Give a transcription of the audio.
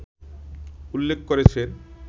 উল্লেখ করেছেন